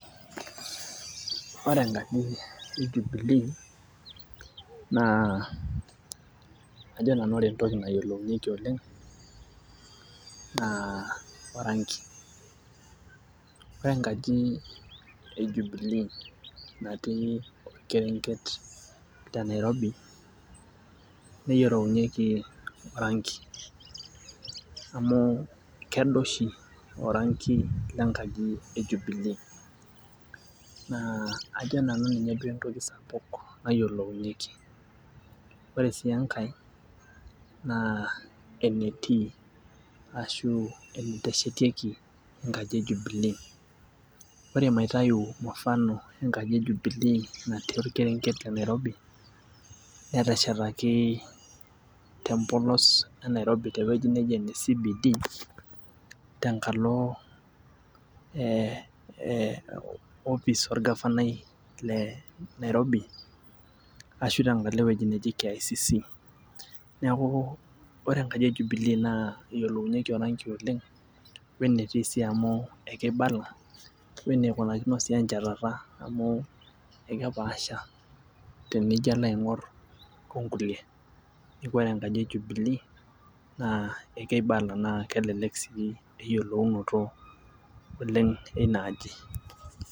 Ore enkaji e jubilee naa ajo nanu ore entoki nayiolounyieki oleng naa orangi ore enkaji e jubilee natii orkerenget te nairobi neyiolounyieki orangi amu kedo oshi orangi lenkaji e jubilee naa ajo nanu ninye duo entoki sapuk nayiolounyieki ore sii enkae naa enetii ashu eneteshetieki enkaji e jubilee ore maitayu mufano enkaji e jubilee natii orkerenget le nairobi neteshetaki tempolos e nairobi tewueji neji ene CBD tenkalo eh eh opis orgafanai le nairobi ashu ashu tenkalo ewueji neji KICC niaku ore enkaji e jubilee naa eyiolounyieki orangi oleng wenetii sii amu ekeibala weneikunakino sii enchatata amu ekepaasha tenijo alo aing'orr onkulie neku ore enkaji e jubilee naa ekeibala naa kelelek sii eyiolounoto oleng eina aji.